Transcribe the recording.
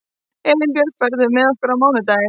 Elínbjörg, ferð þú með okkur á mánudaginn?